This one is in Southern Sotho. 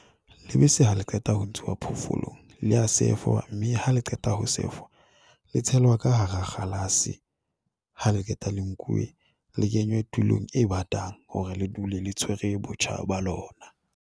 Lebese ha le qeta ho ntshuwa phoofolong le ha for mme ha le qeta ho cfo le tshelwa ka hara kgalase, ha le qeta le nkuwe le kenngwe tulong e batang hore le dule le tshwere botjha ba lona.